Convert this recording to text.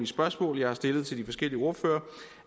spørgsmål jeg har stillet til de forskellige ordførere